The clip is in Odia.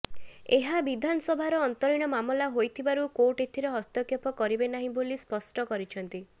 ଏହା ବିଧାନସଭାର ଅନ୍ତରୀଣ ମାମଲା ହୋଇଥିବାରୁ କୋର୍ଟ ଏଥିରେ ହସ୍ତକ୍ଷେପ କରିବେ ନାହିଁ ବୋଲି ସ୍ପଷ୍ଟ କରିଛନ୍ତି